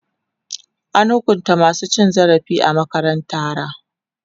An hukunta masu cin zarafi a makarantara.